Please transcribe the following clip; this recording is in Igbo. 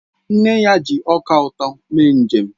Nna ya ji ọka ụtọ eme njem